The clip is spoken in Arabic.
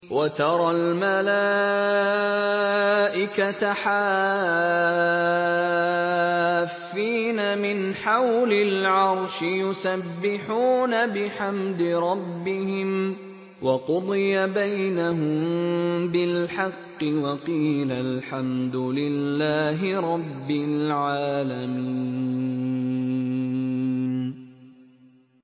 وَتَرَى الْمَلَائِكَةَ حَافِّينَ مِنْ حَوْلِ الْعَرْشِ يُسَبِّحُونَ بِحَمْدِ رَبِّهِمْ ۖ وَقُضِيَ بَيْنَهُم بِالْحَقِّ وَقِيلَ الْحَمْدُ لِلَّهِ رَبِّ الْعَالَمِينَ